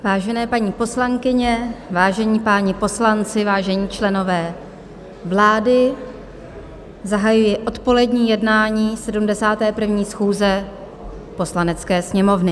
Vážené, paní poslankyně, vážení páni poslanci, vážení členové vlády, zahajuji odpolední jednání 71. schůze Poslanecké sněmovny.